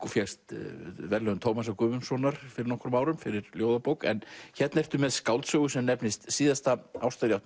og fékkst verðlaun Tómasar Guðmundssonar fyrir nokkrum árum fyrir ljóðabók en hérna ertu með skáldsögu sem nefnist síðasta